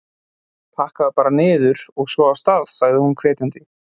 Pakkaðu bara niður, og svo af stað! sagði hún hvetjandi.